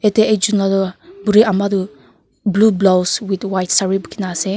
yate ekjon la toh buri ama toh blue blouse with white sare bukhina ase.